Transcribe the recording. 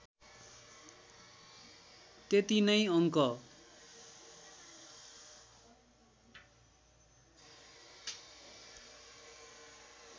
त्यति नै अङ्क